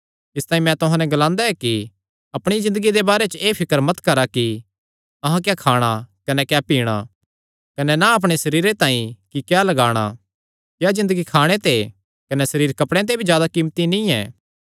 इसतांई मैं तुहां नैं ग्लांदा ऐ कि अपणिया ज़िन्दगिया दे बारे च एह़ फिकर मत करा कि अहां क्या खाणा कने क्या पीणा कने ना अपणे सरीरे तांई कि क्या लगाणा क्या ज़िन्दगी खाणे ते कने सरीर कपड़ेयां ते भी जादा कीमती नीं ऐ